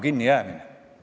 Mul on protseduuriline märkus.